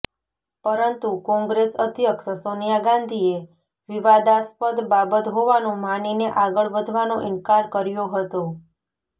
પરંતુ કોંગ્રેસ અધ્યક્ષ સોનિયા ગાંધીએ વિવાદાસ્પદ બાબત હોવાનું માનીને આગળ વધવાનો ઈનકાર કર્યો હતો